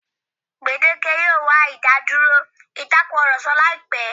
Gbèdéke yóò wà ìdádúrò ìtakurọ̀sọ láìpẹ́.